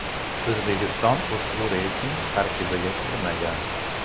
O‘zbekiston ushbu reyting tarkibiga kirmagan.